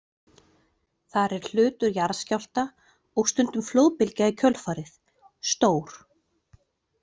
Þar er hlutur jarðskjálfta, og stundum flóðbylgja í kjölfarið, stór.